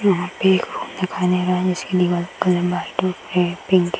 वहां पे पिंक --